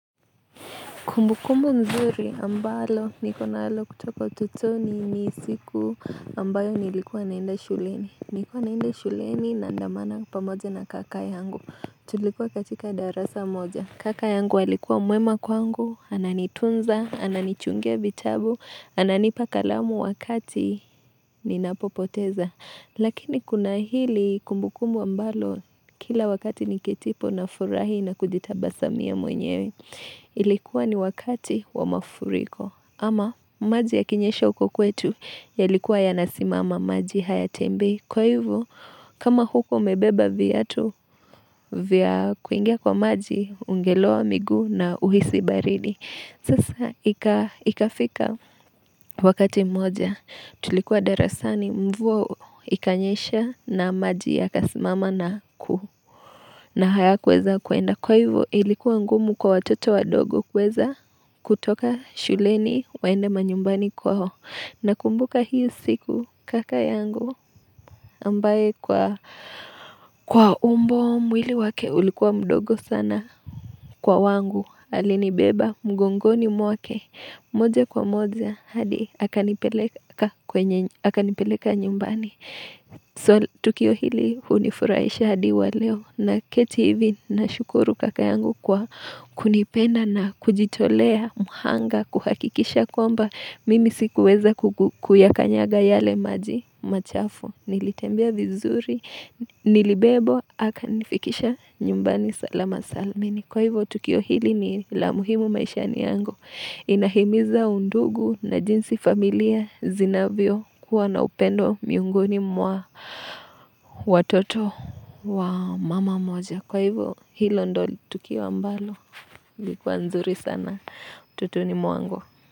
Kumbukumu mzuri ambalo niko nalo kutoka utoto ni siku ambayo nilikuwa naenda shuleni. Nilikuwa naenda shuleni naandamana pamoja na kaka yangu. Tulikuwa katika darasa moja. Kaka yangu alikuwa mwema kwangu, ananitunza, ananichungia vitabu, ananipa kalamu wakati ninapo poteza. Lakini kuna hili kumbukumu ambalo kila wakati nikitipo na furahi na kujitabasamia mwenyewe. Ilikuwa ni wakati wa mafuriko ama maji yakinyesha uko kwetu yalikuwa yanasimama maji hayatembei Kwa hivo kama hukua umebeba viatu vya kuingia kwa maji Ungeloa miguu na uhisi baridi Sasa ikafika wakati moja Tulikuwa darasani mvua ikanyesha na maji yakasimama na kuhu na haya kuweza kuenda Kwa hivo ilikuwa ngumu kwa watoto wadogo kuweza kutoka shuleni waende manyumbani kwao nakumbuka hiyo siku kaka yangu ambaye kwa kwa umbo mwili wake ulikuwa mdogo sana kwa wangu alinibeba mgongoni mwake moja kwa moja hadi akanipeleka nyumbani tukio hili unifuraisha hadi wa leo naketi hivi na shukuru kaka yangu kwa kunipenda na kujitolea, mhanga, kuhakikisha kwamba Mimi sikuweza kuyakanyaga yale maji machafu Nilitembea vizuri, nilibebwa, akanifikisha nyumbani salama salamini Kwa hivyo, tukio hili ni la muhimu maishani yangu Inahimiza undugu na jinsi familia zinavyo kuwa na upendo miongoni mwa watoto wa mama moja Kwa hivyo, hilo ndio tukio ambalo lilikuwa nzuri sana utotoni mwangu.